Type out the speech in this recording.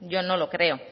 yo no lo creo